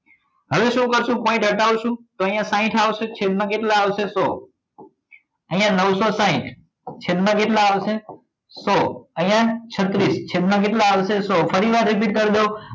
હવે શું કરશો point હટાવશો ત્યાં આગળ સાઇઠ આવશે તો છેદમાં કેટલા આવશે સો અહીંયા નવસો સાઇઠ છેદમાં કેટલા આવશે સો અહીંયા છત્રીસ છેદમાં કેટલા આવશે સો ફરીવાર repeat કરી દઉં